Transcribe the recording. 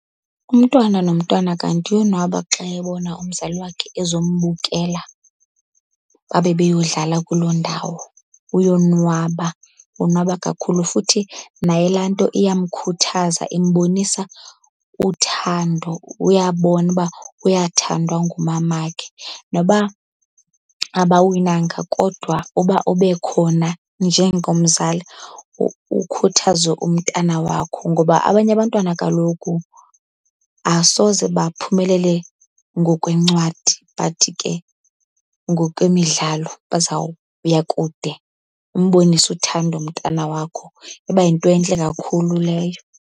Umntwana nomntwana kanti uyonwaba xa ebona umzali wakhe ezombukela babe beyodlala kuloo ndawo. Uyonwaba, wonwaba kakhulu futhi naye laa nto iyamkhuthaza, imbonisa uthando, uyabona uba uyathandwa ngumamakhe. Noba abawinanga kodwa uba ube khona njengomzali ukhuthaze umntana wakho, ngoba abanye abantwana kaloku asoze baphumelele ngokwencwadi but ke ngokwemidlalo bazawuya kude. Umbonise uthando umntana wakho, iba yinto entle kakhulu leyo.